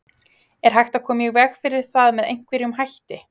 Er hægt að koma í veg fyrir það með einhverjum hætti?